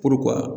Puruk'u ka